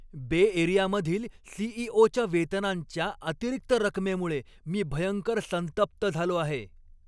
बे एरियामधील सी.ई.ओ.च्या वेतनांच्या अतिरिक्त रकमेमुळे मी भयंकर संतप्त झालो आहे.